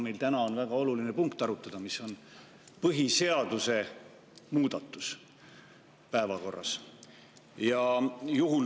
Meil on täna arutada väga oluline punkt, põhiseaduse muudatus.